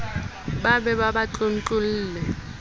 ba be ba ba tlontlolle